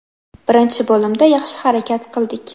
Birinchi bo‘limda yaxshi harakat qildik.